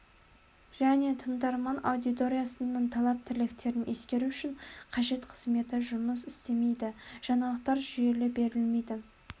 және тыңдарман аудиториясының талап-тілектерін ескеру үшін қажет қызметі жұмыс істемейді жаңалықтар жүйелі берілмейді